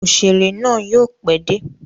Òṣèrè náà yóò pẹ́ dé.